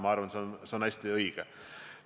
Ma arvan, et see on väga õige.